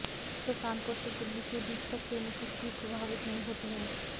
जिससे कानपुर से दिल्ली के बीच तक ट्रेनों की स्पीड प्रभावित नहीं होती है